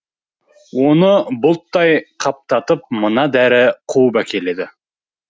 оны бұлттай қаптатып мына дәрі қуып әкеледі